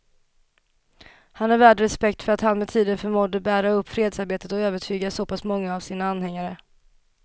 Han är värd respekt för att han med tiden förmådde bära upp fredsarbetet och övertyga så pass många av sina anhängare.